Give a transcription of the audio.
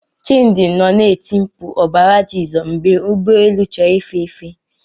Chimdi nọ na-eti mkpu ọbara Jizọs mgbe ụgbọ elu chọrọ ife efe.